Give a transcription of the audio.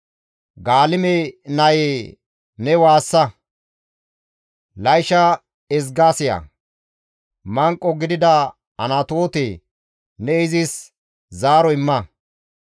Gaalime nayee ne waassa! Laysha ezga siya! Manqo gidida Anatoote, ne izis zaaro imma.